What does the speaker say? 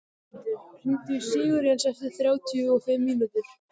Þormundur, hringdu í Sigurjens eftir þrjátíu og fimm mínútur.